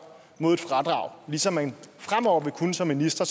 mod et fradrag ligesom man fremover vil kunne som minister